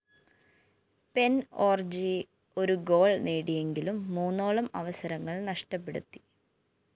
pen Orji ഒരു goal നേടിയെങ്കിലും മൂന്നോളം അവസരങ്ങള്‍ നഷ്ടപ്പെടുത്തി